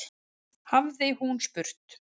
hafði hún spurt.